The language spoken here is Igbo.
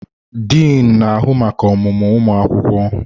Diin na-ahụ maka ọmụmụ ụmụ akwụkwọ.